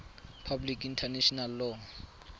public international law